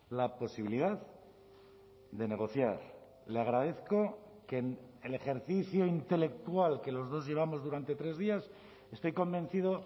la posibilidad de negociar le agradezco que el ejercicio intelectual que los dos llevamos durante tres días estoy convencido